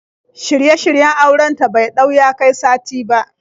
Shirye-shiryen auren ta bai ɗau ya kai sati ba.